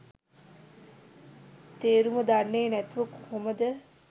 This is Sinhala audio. තේරුම දන්නෙ නැතුව කොහොමද